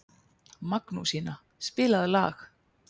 Magnúsína, spilaðu lag.